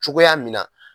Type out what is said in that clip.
Cogoya min na